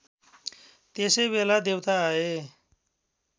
त्यसैबेला देवता आए